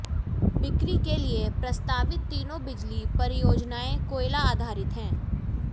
बिक्री के लिए प्रस्तावित तीनों बिजली परियोजनाएं कोयला आधारित हैं